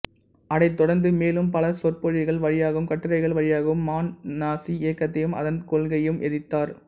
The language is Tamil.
அதைத் தொடர்ந்து மேலும் பல சொற்பொழிவுகள் வழியாகவும் கட்டுரைகள் வழியாகவும் மாண் நாசி இயக்கத்தையும் அதன் கொள்கையையும் எதிர்த்தார்